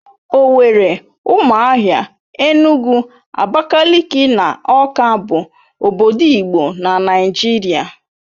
Owerri, Ụmụahia, Enugu, Abakaliki na Awka bụ obodo igbo na Naịjirịa